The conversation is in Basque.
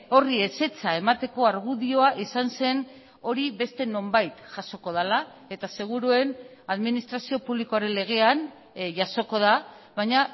horri ezetza emateko argudioa izan zen hori beste nonbait jasoko dela eta seguruen administrazio publikoaren legean jasoko da baina